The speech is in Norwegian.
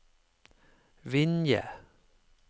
Vinje